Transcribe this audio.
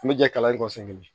An bɛ jɛ kalan in kɔfɛ